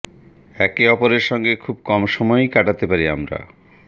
একে অপরের সঙ্গে খুব কম সময়ই কাটাতে পারি আমরা